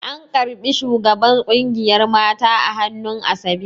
An ƙarɓi shugaban ƙungiyar mata a hannun asabe